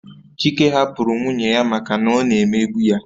Chike hapụrụ nwunye ya maka na ọ na-emegbu ya